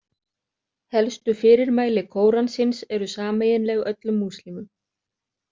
Helstu fyrirmæli Kóransins eru sameiginleg öllum múslímum.